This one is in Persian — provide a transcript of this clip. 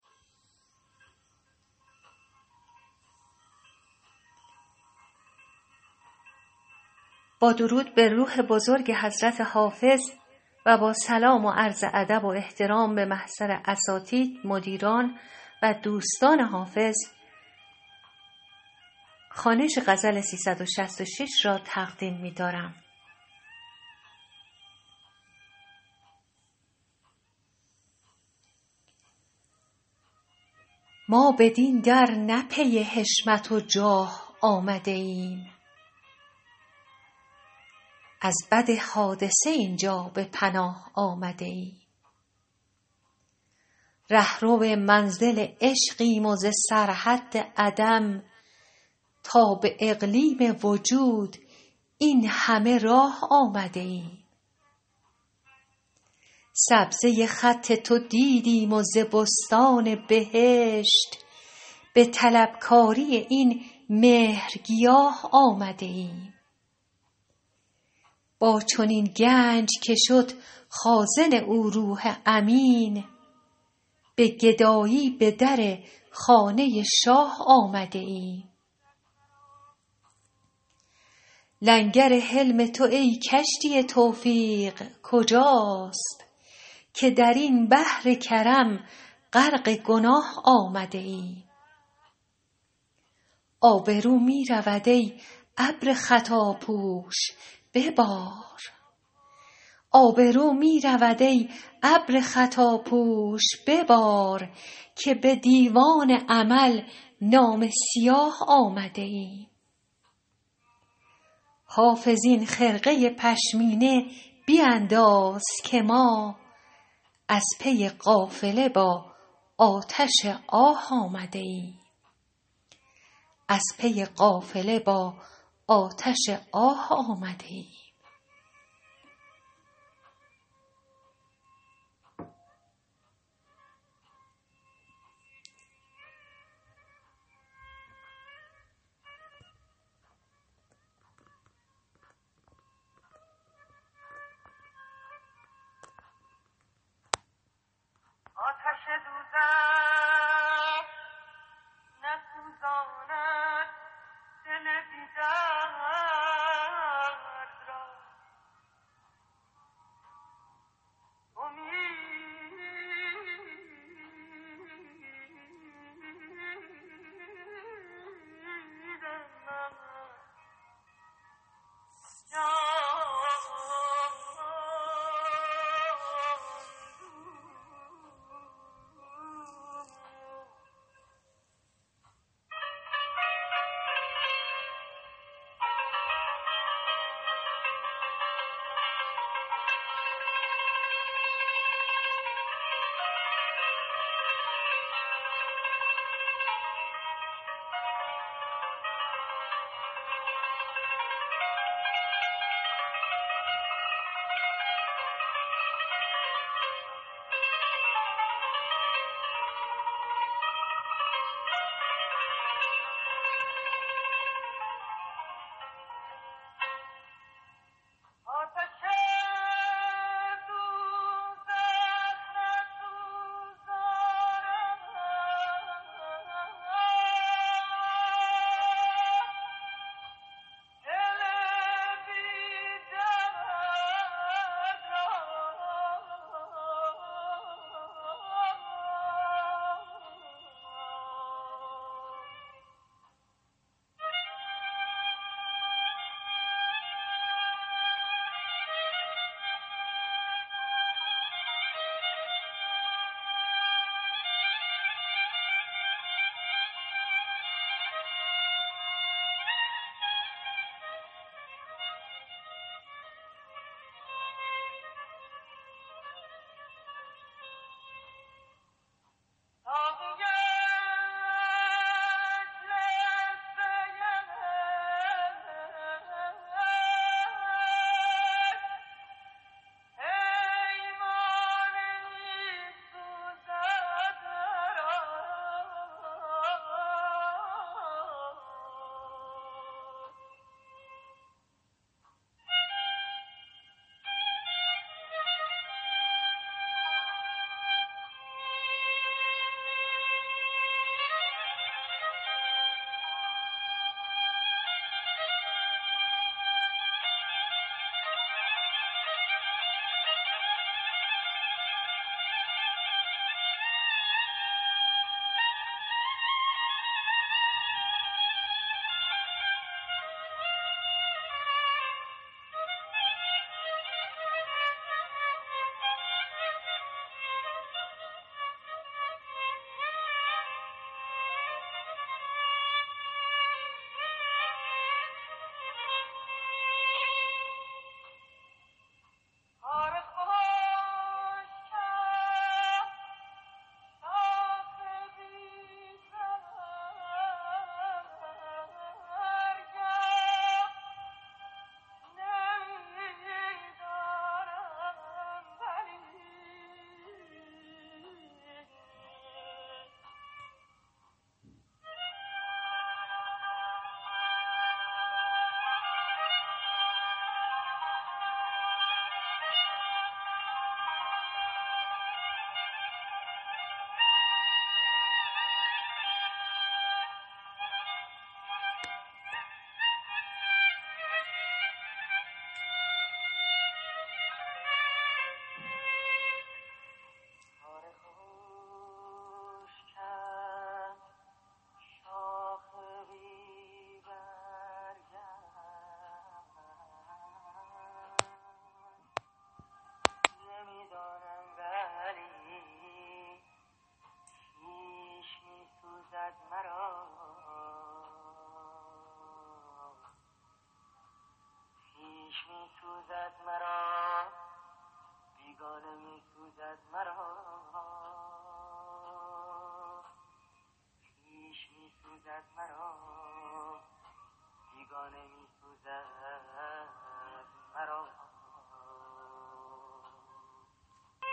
ما بدین در نه پی حشمت و جاه آمده ایم از بد حادثه این جا به پناه آمده ایم رهرو منزل عشقیم و ز سرحد عدم تا به اقلیم وجود این همه راه آمده ایم سبزه خط تو دیدیم و ز بستان بهشت به طلبکاری این مهرگیاه آمده ایم با چنین گنج که شد خازن او روح امین به گدایی به در خانه شاه آمده ایم لنگر حلم تو ای کشتی توفیق کجاست که در این بحر کرم غرق گناه آمده ایم آبرو می رود ای ابر خطاپوش ببار که به دیوان عمل نامه سیاه آمده ایم حافظ این خرقه پشمینه بینداز که ما از پی قافله با آتش آه آمده ایم